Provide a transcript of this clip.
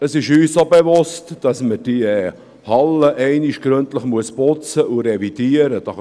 Es ist uns auch bewusst, dass man diese Hallen einmal gründlich putzen und revidieren muss;